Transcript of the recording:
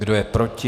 Kdo je proti?